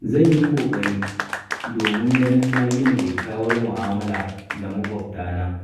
Zan yi ƙoƙari domin ganin na gina kyakkyawar mu'amala da maƙwabta na